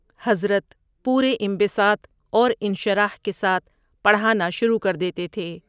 حضرت پورے انبساط اور انشراح کے ساتھ پڑھانا شروع کردیتے تھے ۔